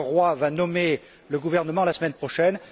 Le roi va y nommer le gouvernement la semaine prochaine.